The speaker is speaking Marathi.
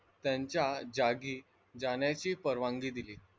त्यांच्या जागी जाण्याची परवानगी दिली.